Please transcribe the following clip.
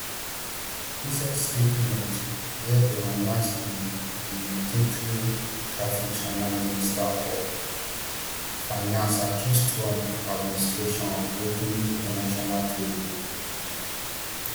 inside statement wia dem announce di di retaliatory tariffs china ministry of finance accus trump administration of breaking international trade rules